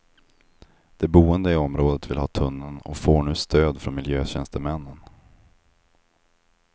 De boende i området vill ha tunneln och får nu stöd från miljötjänstemännen.